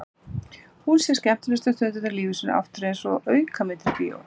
Hún sér skemmtilegustu stundirnar í lífi sínu aftur einsog aukamyndir í bíói.